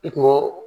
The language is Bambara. I kungo